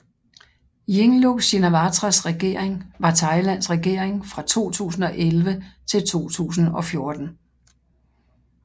Yingluck Shinawatras regering var Thailands regering fra 2011 til 2014